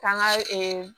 K'an ka